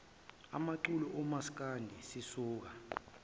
amaculo omasikandi sisuka